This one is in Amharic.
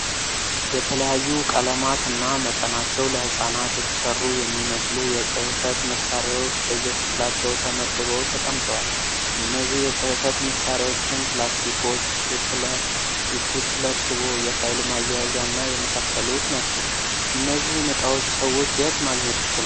የተለያዩ ቀለማት እና መጠናቸው ለህጻናት የተሰሩ የሚመስሉ የጽህፈት መሳሪያዎች በየክፍላቸው ተመድበው ተቀምጠዋል። እነዚህ የጽህፈት መሳሪያዎችም ፕላስቲኮች፣ ስቴፕለር፣ የስቴፕለር ሽቦ፣ የፋይል ማያያዣ እና የመሳሰሉት ናቸው። እነዚህን እቃዎች ሰዎች የት ማግኘት ይችላሉ?